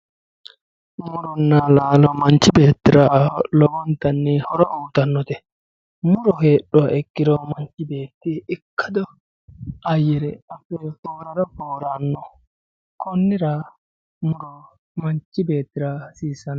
muronna laalo manchi beettira lowontanni horo uyiitannote muro hoogguha ikkiro manchi beetti ikkado ayyire adhe konnira muro manchi beettira hasiissano